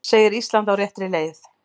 Segir Ísland á réttri leið